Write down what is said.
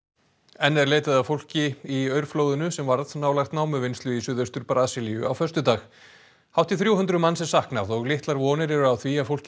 enn er leitað að fólki í aurflóðinu sem varð nálægt námuvinnslu í suðaustur Brasilíu á föstudag hátt í þrjú hundruð manns er saknað og litlar vonir eru á því að fólkið